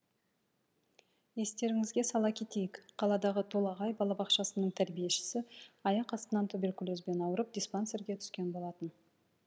естеріңізге сала кетейік қаладағы толағай балабақшасының тәрбиешісі аяқ астынан туберкулезбен ауырып диспансерге түскен болатын